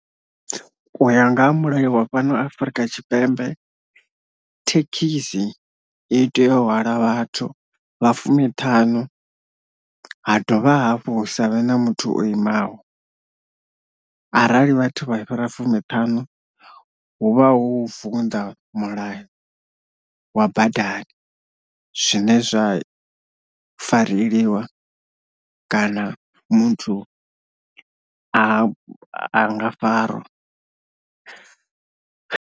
Uya nga ha mulayo wa fhano Afurika Tshipembe thekhisi i tea u hwala vhathu vha fumiṱhanu ha dovha hafhu hu savhe na muthu o imaho arali vhathu vha fhira fumiṱhanu huvha hu u vunḓa mulayo wa badani zwine zwa fareleliwa kana muthu a a nga farwa.